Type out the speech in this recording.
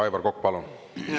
Aivar Kokk, palun!